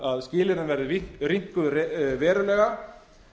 að skilyrðin verði rýmkuð verulega